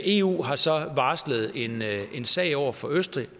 eu har så varslet en sag over for østrig